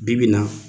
Bi bi in na